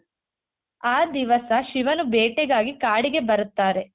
ಆ ದಿವಸ ಶಿವನು ಭೇಟೆಗಾಗಿ ಕಾಡಿಗೆ ಬರುತ್ತಾರೆ .